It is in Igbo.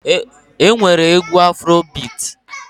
E nwere egwu Afuro bit.